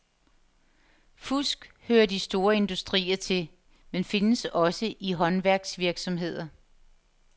Fusk hører de store industrier til, men findes også i håndværksvirksomheder.